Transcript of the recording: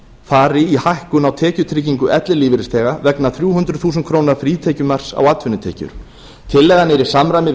fari í hækkun á tekjutryggingu ellilífeyrisþega vegna þrjú hundruð þúsund krónur frítekjumarks á atvinnutekjur tillagan er í samræmi við